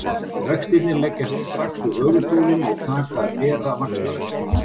Vextirnir leggjast strax við höfuðstólinn og taka að bera vaxtavexti.